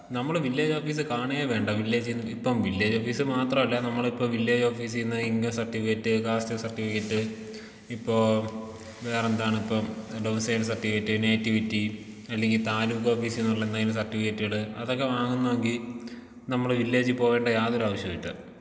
നമ്മള് village office കാണേ വേണ്ട വില്ലേജിന്ന് ഇപ്പം വില്ലേജ് ഓഫീസ് മാത്രമല്ല നമ്മളിപ്പോ വില്ലേജ് ഓഫീസിന്ന് ഇൻകം സർട്ടിഫിക്കറ്റ് കാസ്റ്റ് സർട്ടിഫിക്കറ്റ് ഇപ്പോ വേറെന്താണിപ്പോ *നോട്ട്‌ ക്ലിയർ* സർട്ടിഫിക്കറ്റ് നേറ്റിവിറ്റി അല്ലെങ്കിൽ താലൂക്ക് ഓഫീസിൽ നിന്നുള്ള എന്തെങ്കിലും സർട്ടിഫിക്കറ്റുകള് അതൊക്കെ വാങ്ങുന്നോങ്കി നമ്മൾ വില്ലേജിൽ പോകേണ്ട യാതൊരു ആവശ്യവുമില്ല.